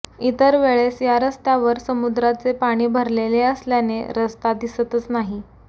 इतर वेळेस या रस्त्यावर समुद्राचे पाणी भरलेले असल्याने रस्ता दिसतच नाही